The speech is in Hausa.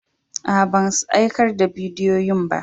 Aa, ban aikar da bidiyoyin ba.